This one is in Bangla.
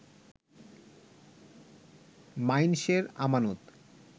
মাইনষের আমানত